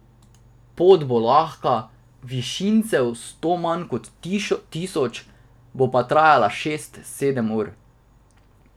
Pot bo lahka, višincev sto manj kot tisoč, bo pa trajalo šest, sedem ur.